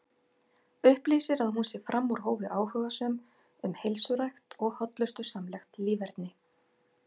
Upplýsir að hún sé fram úr hófi áhugasöm um heilsurækt og hollustusamlegt líferni.